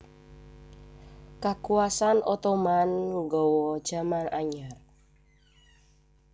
Kakuwasan Ottoman nggawa jaman anyar